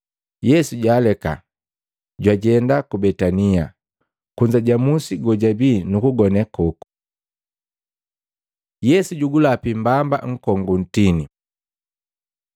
Yesu jwaaleka, jwajenda ku Betania, kunza ja musi kojabii, nukugone koku. Yesu jugulapi mbamba nkongu gu ntini Maluko 11:12-14, 20-24